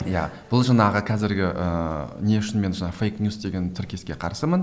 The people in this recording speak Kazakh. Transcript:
иә бұл жаңағы қазіргі ыыы не үшін мен жаңағы фейк ньюс деген тіркеске қарсымын